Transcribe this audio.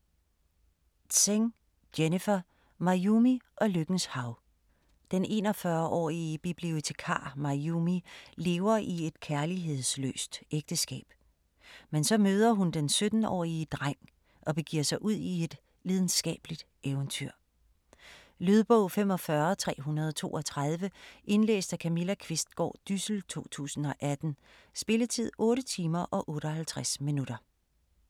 Tseng, Jennifer: Mayumi og lykkens hav Den 41-årig bibliotekar, Mayumi, lever i et kærlighedsløst ægteskab, men så møder hun den 17-årige dreng og begiver sig ud i et lidenskabeligt eventyr. Lydbog 45332 Indlæst af Camilla Qvistgaard Dyssel, 2018. Spilletid: 8 timer, 58 minutter.